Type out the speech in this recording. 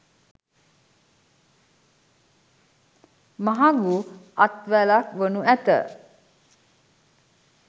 මහඟු අත්වැලක් වනු ඇත.